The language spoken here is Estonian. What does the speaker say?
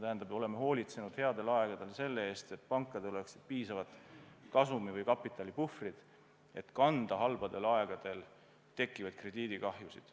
Me oleme hoolitsenud headel aegadel selle eest, et pankadel oleks piisavad kasumi- või kapitalipuhvrid, et kanda halbadel aegadel tekkivaid krediidikahjusid.